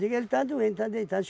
Digo, ele está doente, está deitado.